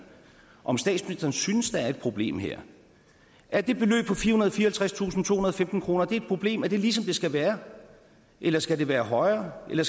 om statsministeren synes der er et problem her er det beløb på fireoghalvtredstusindtohundrede og femten kroner et problem er det ligesom det skal være eller skal det være højere eller